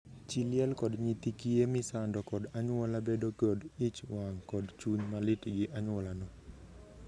Chii liel kod nyithii kiye misando kod anyuola bedo kod ich wang kod chuny malit gi anyuolano.